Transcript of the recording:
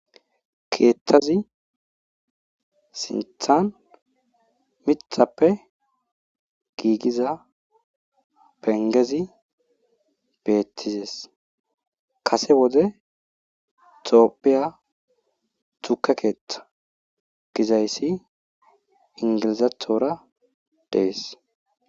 Keeththzi sinththan miththappe giigida pengezi beetizees. kasse wode tophiya tukke keeththa gizayssi inglizathora dees.